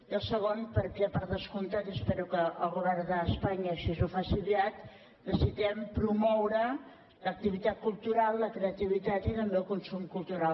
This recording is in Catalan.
i en el segon perquè per descomptat i espero que el govern d’espanya així ho faci aviat necessitem promoure l’activitat cultural la creativitat i també el consum cultural